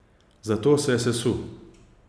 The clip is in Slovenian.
Zato se je sesul.